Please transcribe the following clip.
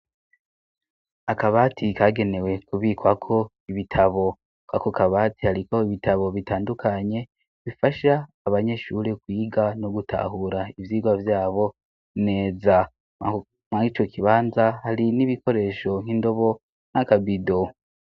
Akabati kagenewe kubikwa ko ibitabo. Ako kabati hariko ibitabo bitandukanye bifasha abanyeshure kuyiga no gutahura ivyigwa vyabo neza muri ico kibanza hari n'ibikoresho nk'indobo n'akabido.